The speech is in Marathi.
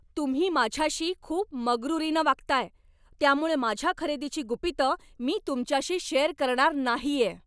तुम्ही माझ्याशी खूप मगरूरीनं वागताय, त्यामुळं माझ्या खरेदीची गुपितं मी तुमच्याशी शेअर करणार नाहीये.